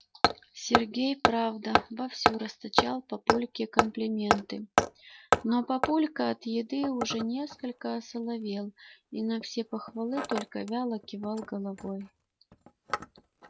сергей правда вовсю расточал папульке комплименты но папулька от еды уже несколько осоловел и на все похвалы только вяло кивал головой